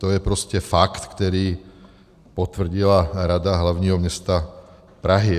To je prostě fakt, který potvrdila Rada hlavního města Prahy.